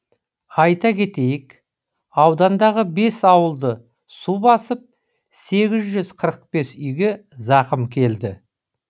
айта кетейік аудандағы бес ауылды су басып сегіз жүз қырық бес үйге зақым келді